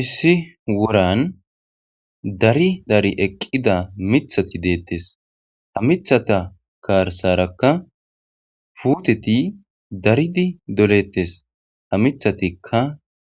Issi woran dari dari eqida mithati betes ha mithata garsaraka puteti daridi doletes ha mithatika